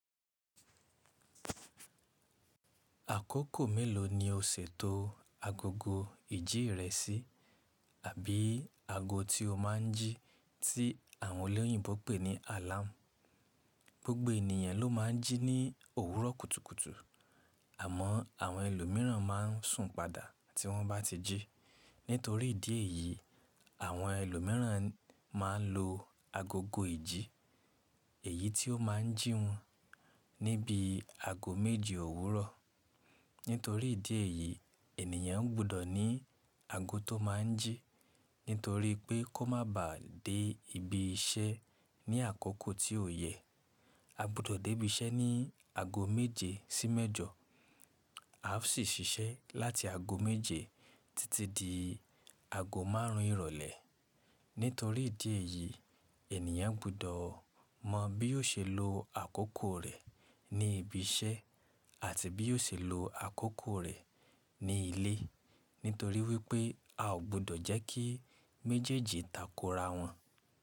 Àkókò mélòó ni o ṣètò agogo ìjí rẹ sí? Àbí ago tí o má n jí tí àwọn olóyìnbo pè ní alarm. Gbogbo ènìyàn ló máa n jí ní òwúrọ̀ kùtùkùtù, àmọ́ àwọn ẹlòmíràn máa n sùn padà tí wọ́n bá ti jí. Nítorí ìdí èyí, àwọn ẹlòmíràn máa n lo agogo ìjí, èyí tí o má n jí wọn níbí ago méje òwúrọ̀. Nítorí ìdí èyí, ènìyàn gbudọ̀ ní ago tó máa n jí nítorí pé kó máa ba de ibi iṣẹ́ ní àkókò tí ò yẹ. A gbudọ̀ dé ibi iṣẹ́ ní ago méje sí mẹ́jọ. Af sì ṣiṣẹ́ láti ago méje títí di ago márùn ún ìrọ̀lẹ́. Nítorí ìdí èyí, ènìyàn gbudọ̀ mọ bí yóò ṣe lo àkókò rẹ̀ ní ibi iṣẹ́ àti bí yóò ṣe lo àkókò rẹ̀ ní ilé. Nítorí wípé a ò gbudọ̀ jẹ́ kí méjèèjì takora wọn.